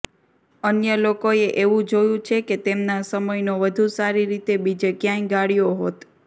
અન્ય લોકોએ એવું જોયું છે કે તેમના સમયનો વધુ સારી રીતે બીજે ક્યાંય ગાળ્યો હોત